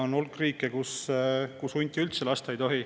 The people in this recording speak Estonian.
On hulk riike, kus hunti üldse lasta ei tohi.